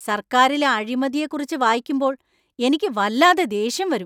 സർക്കാരിലെ അഴിമതിയെക്കുറിച്ച് വായിക്കുമ്പോൾ എനിക്ക് വല്ലാതെ ദേഷ്യം വരും.